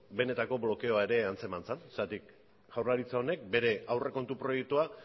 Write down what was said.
benetako blokeoa ere antzeman zen zergatik jaurlaritza honek bere aurrekontu proiektua